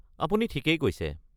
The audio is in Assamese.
আপুনি ঠিকেই কৈছে।